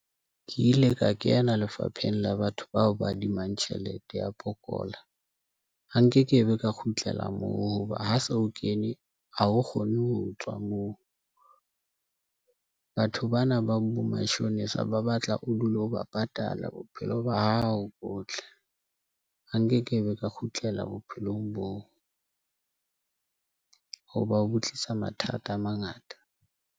Ke ile ka kena lefapheng la batho bao ba adimang tjhelete ya pokola, ha nkekebe ka kgutlela moo hoba ha se o kene. Ha o kgonne ho tswa moo batho bana ba bo mashonisa ba batla o dule ho ba patala bophelo ba hao botle. Ha nkekebe ka kgutlela bophelong boo. Hoba ho tlisa mathata a mangata.